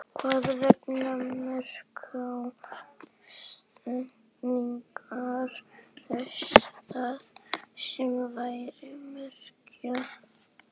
Hvers vegna merkja setningar það sem þær merkja?